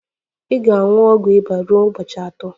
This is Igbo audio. Ị ga-aṅụ ọgwụ ịba ruo ụbọchị atọ